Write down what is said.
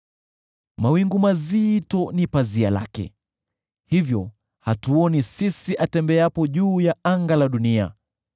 Mawingu mazito ni pazia lake, hivyo hatuoni sisi atembeapo juu ya anga la dunia.